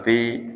A bɛ